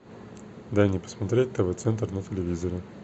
дай мне посмотреть тв центр на телевизоре